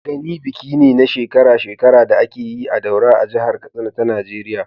Gani biki ne na shekara-shekara da ake yi a Daura a jihar Katsina ta Najeriya.